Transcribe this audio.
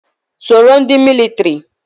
Soro ndị militiri!